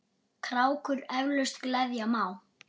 krákur eflaust gleðja má.